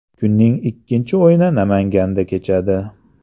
Kunning ikkinchi o‘yini Namanganda kechadi.